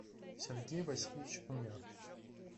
сергей васильевич умяров